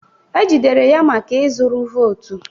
E jidere ya maka ịzụrụ votu